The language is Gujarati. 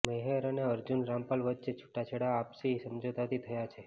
મેહર અને અર્જુન રામપાલ વચ્ચે છૂટાછેડા આપસી સમજોતાથી થયા છે